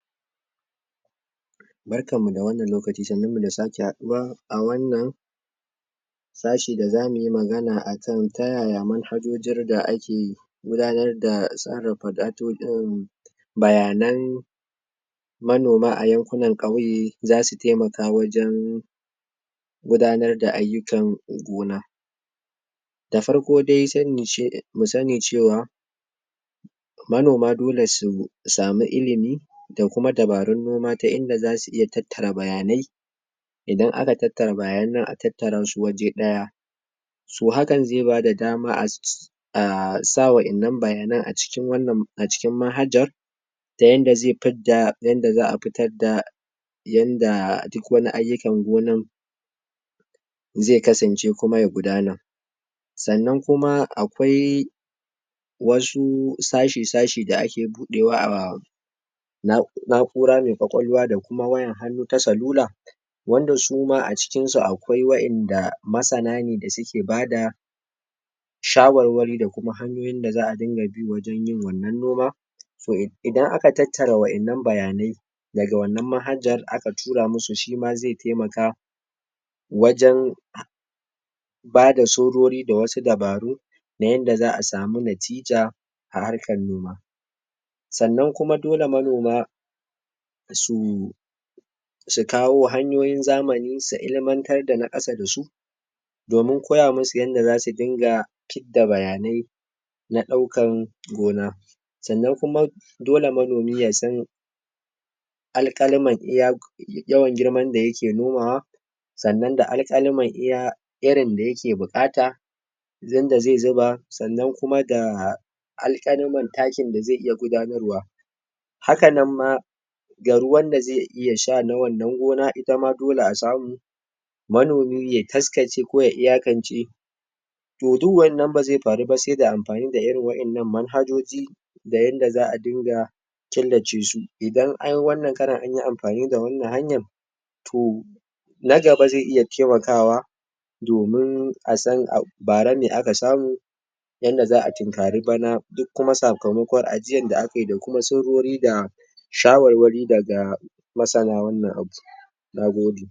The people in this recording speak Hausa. Barkan mu da wannan lokaci, sannun mu da sake haɗuwa a wannan sashi da zamu yi magana akan ta yaya manhajojin da ake gudanar da buƙatar bayanan manoma yankunan ƙauye za su taimakawa wajen gudanar da ayyukan gona. Da farko dai mu sani cewa manoma dole su sami ilimi da kuma da dabarun noma ta inda za su iya tattara bayanai,, idan aka tattara bayanan nan, a tattara su waje ɗaya to hakan zai bada dama asa wa'yannan bayana acikin wannan acikin manhajar da yanda zai fidda yanda za'a fitar da yandaa duk wani ayyukan gonan zai kasance ko kuma ya gudana sannan kuma akwaii wasu sashi sashi da ake budewa a na'ura mai ƙwaƙwalwa da kuma wayan hannu ta salula, wanda suma acikin su akwai wa'yanda ma masana ne shawarwari akan hanyoyin da za'a rinƙa bi ana fara wannan noma so Idan aka tattara wa'yannan bayanai daga wannan manhajar aka tura musu shima zai taimaka wajan wajen ba surori da wasu dabaru na yanda za'a samu natija a harkan noma, sannan kuma dole manoma? su Su kawo hanyoyin zamani ,su ilmantar da na ƙasa da su domin koya musu yanda zasu rinƙa fid da bayanai na daukan gona sannan kuma dole manomi ya sanni al' kalaman iya yawan girman da yake nomawa sannan da alkalami iya irin daya ke bukata da zai zuba sannan kuma da alkalman takin da zai iya gudanarwa haka nan ma ga ruwan da zai iya sha ta wannan noma ita ma dole a samu manomi ya taskace ko ya iyakance. Toh du wannan bazai faru ba sai da anfani da irin Waɗannan manhajoji da yand za'a rinƙa killace su idan ai wannan karon anyi anfani da wannan hayan, toh na gaba zai iya taimakawa domin a san Bara mai aka samu yanda za'a tinƙari bana kuma sakamakon ajiyar da aka yi surori da shawarwari daga masana wanan aiki Na gode